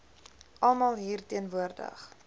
almal hier teenwoordig